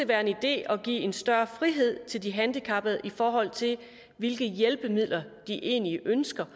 være en idé at give en større frihed til de handicappede i forhold til hvilke hjælpemidler de egentlig ønsker